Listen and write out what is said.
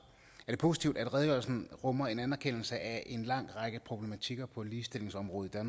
det positivt at redegørelsen rummer en anerkendelse af en lang række problematikker på ligestillingsområdet